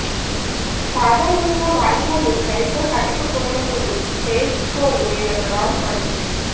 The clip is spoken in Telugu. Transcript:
సాధారణంగా వాయిదాలు సరిగ్గా కట్టకపోయినప్పుడు క్రెడిట్ స్కోర్ మీద ప్రభావం పడుతుంది